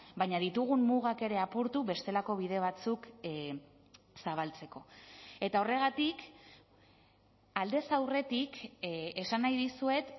baina ditugun mugak ere apurtu bestelako bide batzuk zabaltzeko eta horregatik aldez aurretik esan nahi dizuet